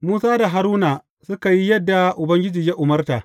Musa da Haruna suka yi yadda Ubangiji ya umarta.